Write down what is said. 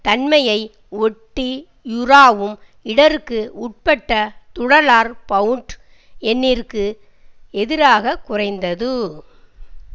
தன்மையை ஒட்டி யூராவும் இடருக்கு உட்பட்ட துடாலர் பவுண்ட் யென்னிற்கு எதிராக குறைந்தது